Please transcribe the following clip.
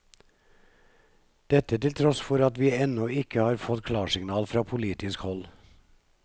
Dette til tross for at vi ennå ikke har fått klarsignal fra politisk hold.